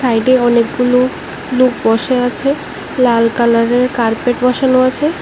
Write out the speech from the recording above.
সাইডে এ অনেকগুলু লুক বসে আছে লাল কালারের এর কার্পেট বসানো আছে।